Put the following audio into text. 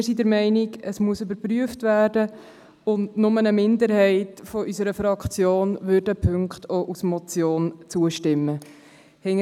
Wir sind der Meinung, es müsse geprüft werden, wobei nur eine Minderheit unserer Fraktion den Punkten als Motion zustimmen wird.